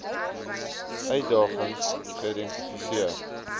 uitdagings geïdenti seer